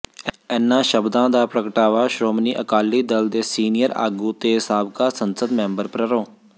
ਿਂੲਨ੍ਹਾਂ ਸ਼ਬਦਾਂ ਦਾ ਪ੍ਰਗਟਾਵਾ ਸ਼੍ਰੋਮਣੀ ਅਕਾਲੀ ਦਲ ਦੇ ਸੀਨੀਅਰ ਆਗੂ ਤੇ ਸਾਬਕਾ ਸੰਸਦ ਮੈਂਬਰ ਪ੍ਰਰੋ